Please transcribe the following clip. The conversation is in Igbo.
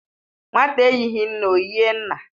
Nwata eyighi nne, ọ yịe nna